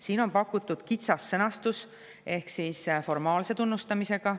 Siin on pakutud kitsas sõnastus ehk seostub formaalse tunnustamisega.